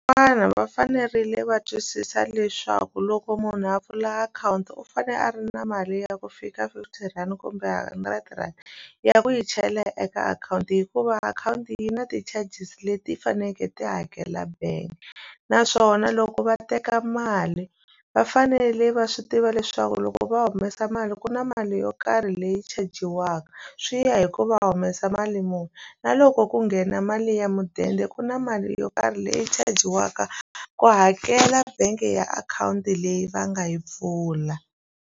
va fanerile va twisisa leswaku loko munhu a pfula akhawunti u fanele a ri na mali ya ku fika fifty rand kumbe hundred rand ya ku yi chela eka akhawunti hikuva akhawunti yi na ti-charges leti ti fanekele ti hakela bank naswona loko va teka mali va fanele va swi tiva leswaku loko va humesa mali ku na mali yo karhi leyi chajiwaka swi ya hi ku va humesa mali muni na loko ku nghena mali ya mudende ku na mali yo karhi leyi chajiwaka ku hakela bangi ya akhawunti leyi va nga yi pfula.